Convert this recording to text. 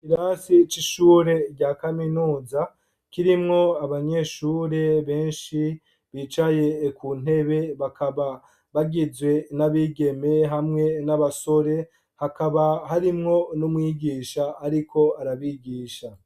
Ikirasi c' ishure rya kaminuza, kirimwo abanyeshure benshi, bicaye ku ntebe, bakaba bagizwe n' abigeme hamwe n' abasore, hakaba harimwo n' umwigisha ariko arabigisha.